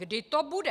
Kdy to bude?